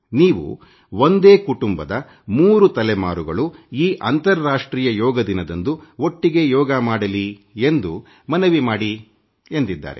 ನೀವು ಒಂದೇ ಕುಟುಂಬ 3 ತಲೆಮಾರುಗಳು ಈ ಅಂತಾರಾಷ್ಟ್ರೀಯ ಯೋಗ ದಿನದಂದು ಒಟ್ಟಿಗೇ ಯೋಗ ಮಾಡಲಿ ಎಂದು ಮನವಿ ಮಾಡಿ ಎಂದಿದ್ದಾರೆ